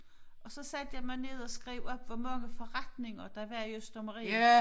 Og så satte jeg mig ned og skrev op hvor mange forretninger der var i Østermarie